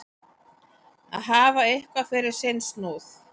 Að hafa eitthvað fyrir sinn snúð